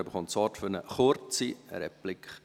Er hat das Wort für eine Replik.